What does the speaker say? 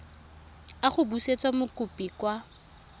a go busetsa mokopi kwa